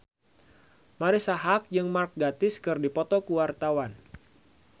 Marisa Haque jeung Mark Gatiss keur dipoto ku wartawan